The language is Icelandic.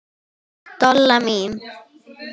Dolla mín.